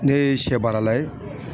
Ne ye sɛ baara la ye.